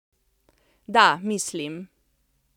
Da, mislim.